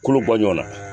Kolo bɔ ɲɔn na